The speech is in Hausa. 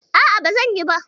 A'a, ba zan iya ba.